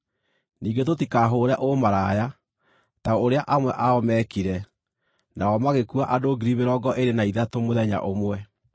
Ningĩ tũtikahũũre ũmaraya, ta ũrĩa amwe ao meekire, nao magĩkua andũ ngiri mĩrongo ĩĩrĩ na ithatũ mũthenya ũmwe.